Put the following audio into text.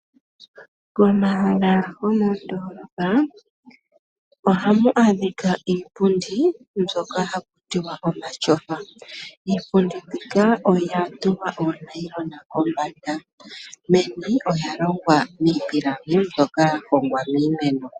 Komahala gomondoolopa ohamu adhika iipundi mbyoka haku tiwa omatyofa. Iipundi mbika oya tulwa oonailona kombanda, meni olya longwa niipilangi mbyoka ya hongwa miimeno.